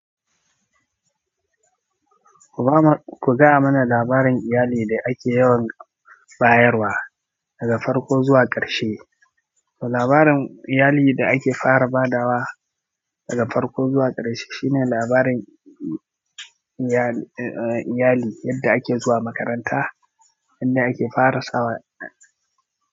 Ku ba ma, ku gaya mana labarin iyali da ake yawan bayarwa daga farko zuwa ƙarshe. To labarin iyali da ake fara ba da wa daga farko zuwa ƙarshe shine labarin iyali yadda ake zuwa makaranta, yadda ake fara sa.